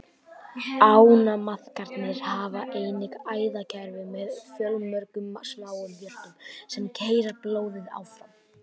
Ánamaðkarnir hafa einnig æðakerfi með fjölmörgum smáum hjörtum, sem keyra blóðið áfram.